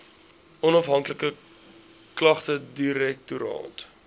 onafhanklike klagtedirektoraat